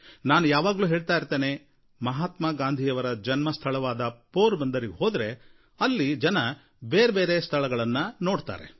ನಾನು ಯಾವಾಗಲೂ ಹೇಳ್ತಾ ಇರ್ತೇನೆ ಮಹಾತ್ಮ ಗಾಂಧಿಯವರ ಜನ್ಮಸ್ಥಳವಾದ ಪೋರ್ ಬಂದರಿಗೆ ಹೋದರೆ ಅಲ್ಲಿ ಬೇರೆಬೇರೆ ಸ್ಥಳಗಳನ್ನು ನಾವು ನೋಡ್ತೇವೆ